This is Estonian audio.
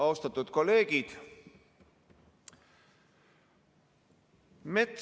Austatud kolleegid!